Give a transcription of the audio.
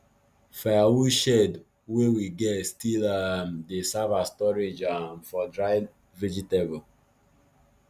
firewood shed wey we get still um dey serve as storage um for dried vegetable